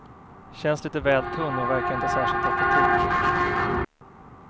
Känns lite väl tunn och verkar inte särskilt effektiv.